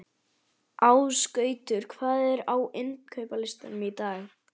Ásgautur, hvað er á innkaupalistanum mínum?